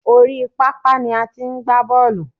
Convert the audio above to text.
Oríi pápá ni a ti ń gba bọ́ọ̀lù.